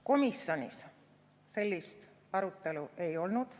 Komisjonis sellist arutelu ei olnud.